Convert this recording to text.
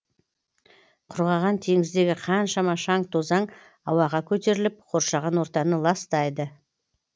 құрғаған теңіздегі қаншама шаң тозаң ауаға көтеріліп қоршаған ортаны ластайды